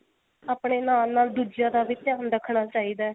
ਆਪਣੇ ਨਾਲ ਨਾਲ ਦੂਜਿਆ ਦਾ ਵੀ ਧਿਆਨ ਰੱਖਣਾ ਚਾਹੀਦਾ